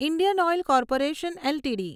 Indian oil corporation LTD